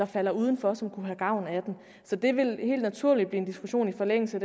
falder uden for så det vil helt naturligt blive en diskussion i forbindelse